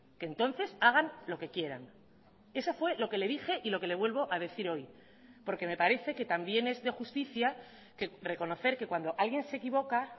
que entonces hagan lo que quieran eso fue lo que le dije y lo que le vuelvo a decir hoy porque me parece que también es de justicia que reconocer que cuando alguien se equivoca